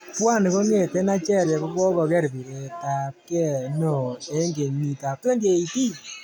Pwani kongete Nigeria kokogoger piretabke neo eng kenyit ab 2018